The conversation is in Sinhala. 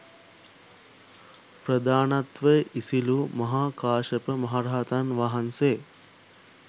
ප්‍රධානත්වය ඉසිලූ මහා කාශ්‍යප මහරහතන් වහන්සේ